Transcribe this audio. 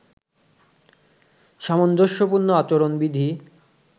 সামঞ্জস্যপূর্ণ আচরণবিধি